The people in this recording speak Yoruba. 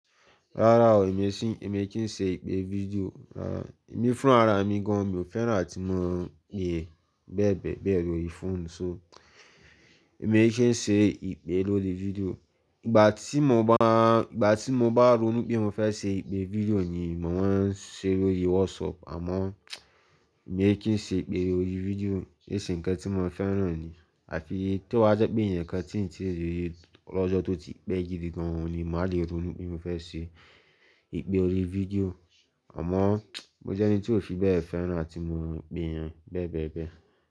Rárá o, èmi e kí n ṣe ìpè fídíò. Ẹ̀mi fún rara mi gan, mi ò fẹ́ràn tí mo ń pe yan bẹ́ẹ̀ bẹ́ẹ̀ bẹ́ẹ̀ lórí fóònù. So, èmi kí ń ṣe ìpè lórí fídíò. Ìgbà tí mo bá ronú pé mo fẹ́ ṣe ìpè fídíò ni mò maa n ṣe lórí WhatsApp. Àmọ́ èmi kí ń ṣe ìpè lórí fídíò níṣe ǹkan tí mò ń fẹ́ràn ni. Àfi tí ó bá jẹ́ pé ǹkan tíì ń tẹ́ni lọ́jọ́ tó ti pẹ́ jidi gan ni màá le ronú pé mo fẹ́ ṣe ìpè lórí fídíò. Àmọ́ mo jẹ́ ẹni tí ò fi bẹ́ẹ̀ fẹ́ràn láti mo ń gbìn bẹ́ẹ̀ bẹ́ẹ̀ bẹ́ẹ̀